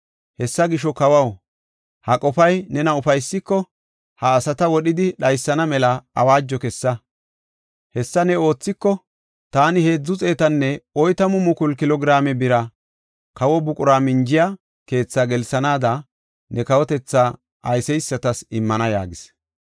Hessa gisho kawaw, ha qofay nena ufaysiko, ha asata wodhidi dhaysana mela awaajo kessa. Hessa ne oothiko, taani heedzu xeetanne oytamu mukulu kilo giraame bira kawo buqura minjiya keetha gelsanaada, ne kawotethaa ayseysatas immana” yaagis.